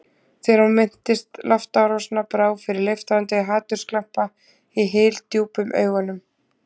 Þegar hún minntist loftárásanna brá fyrir leiftrandi hatursglampa í hyldjúpum augunum.